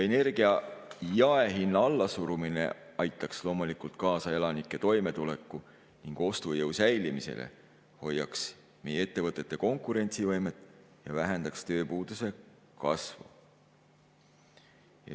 Energia jaehinna allasurumine aitaks loomulikult kaasa elanike toimetuleku ning ostujõu säilimisele, hoiaks meie ettevõtete konkurentsivõimet ja vähendaks tööpuuduse kasvu.